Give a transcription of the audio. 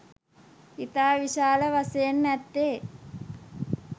ඉතා විශාල වශයෙන් ඇත්තේ